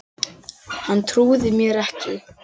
Hann trúði mér ekki